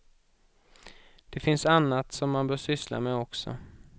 Det finns annat som man bör syssla med också.